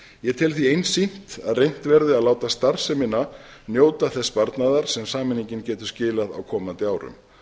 ég tel því einsýnt að reynt verði að láta starfsemina njóta þess sparnaðar sem sameiningin getur skilað á komandi árum